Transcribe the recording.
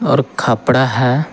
और खपड़ा है।